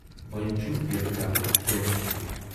وۅنۍ چھُ ییمہِ گَرُک بٲژ ہیوٗ۔